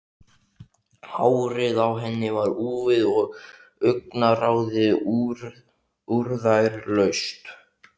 Hárið á henni var úfið og augnaráðið úrræðalaust.